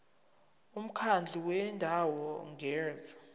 umkhandlu wendawo ngerss